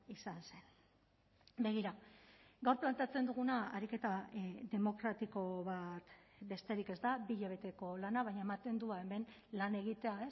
izan zen begira gaur planteatzen duguna ariketa demokratiko bat besterik ez da bi hilabeteko lana baina ematen du hemen lan egitea